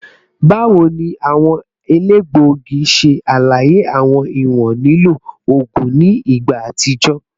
Bawo ni awọn elegbogi ṣe alaye awọn iwọn lilo oogun ni igba atijọ?